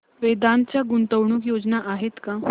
वेदांत च्या गुंतवणूक योजना आहेत का